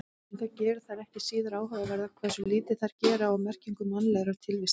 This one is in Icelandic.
En það gerir þær ekki síður áhugaverðar hversu lítið þær gera úr merkingu mannlegrar tilvistar.